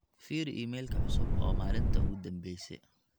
firi iimaylka cusub oo maalinta ugu dhambeyse